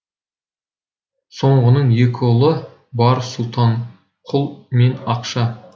соңғының екі ұлы бар сұлтан құл мен ақша